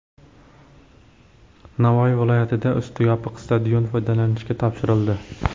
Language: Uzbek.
Navoiy viloyatida usti yopiq stadion foydalanishga topshirildi.